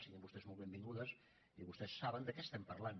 siguin vostès molt benvingudes i vostès saben de què estem parlant